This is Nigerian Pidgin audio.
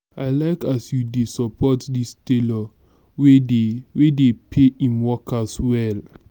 i like as you dey support dis tailor wey dey wey dey pay im workers well.